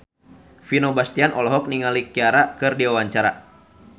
Vino Bastian olohok ningali Ciara keur diwawancara